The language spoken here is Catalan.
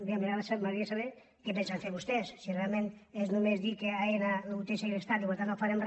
bé m’agra·daria saber què pensen fer vostès si realment és no·més dir que aena el té segrestat i per tant no farem re